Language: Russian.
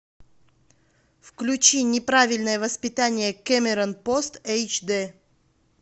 включи неправильное воспитание кэмерон пост эйч дэ